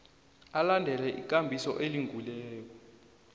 alandele ikambiso elungileko